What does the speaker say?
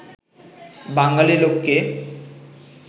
বাঙালী লোককে